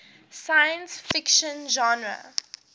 science fiction genre